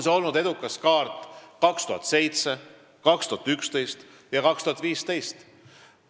See on olnud edukas kaart aastatel 2007, 2011 ja 2015.